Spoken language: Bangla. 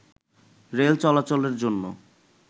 রেল চলাচলের জন্য